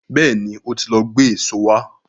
Bẹ́ẹ̀ni, ó ti lọ gbé èso wá.